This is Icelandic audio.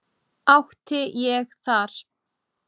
Átti ég þar